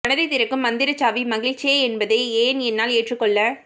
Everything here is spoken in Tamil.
மனதைத் திறக்கும் மந்திரச்சாவி மகிழ்ச்சியே என்பதை ஏன் என்னால் ஏற்றுக்கொள்ள